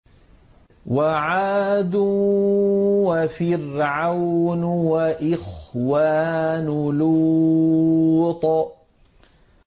وَعَادٌ وَفِرْعَوْنُ وَإِخْوَانُ لُوطٍ